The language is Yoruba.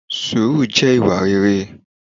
sùúrù jẹ́ ìwà rere